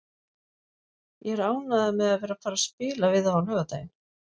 Ég er ánægður með að vera að fara að spila við þá á laugardaginn.